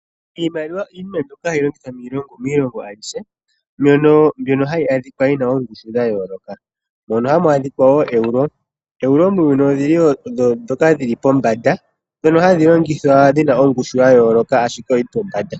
Iimaliwa iinima mbyono hayi longithwa miilongo ayihe, mbyono hayi adhika yi na oongushu dha yooloka. Ohamu adhika ooeuro. Ooeruo muuyuni odho ndhoka dhi li pombanda ndhoka hadhi longithwa dhi na ongushu ya yooloka, ashike oyi li pombanda.